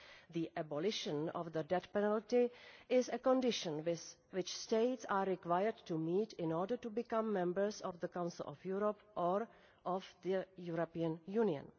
The abolition of the death penalty is a condition which states are required to meet in order to become members of the Council of Europe or of the European Union.